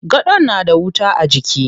Gadon na da wuta a jiki.